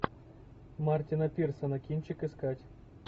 мартина пирсона кинчик искать